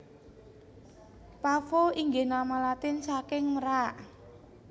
Pavo inggih nama Latin saking merak